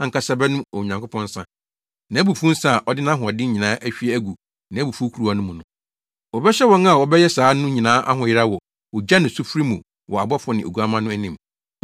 no ankasa bɛnom Onyankopɔn nsa, nʼabufuw nsa a ɔde nʼahoɔden nyinaa ahwie agu nʼabufuw kuruwa mu no. Wɔbɛhyɛ wɔn a wɔbɛyɛ saa no nyinaa ahoyeraw wɔ ogya ne sufre mu wɔ abɔfo ne Oguamma no anim.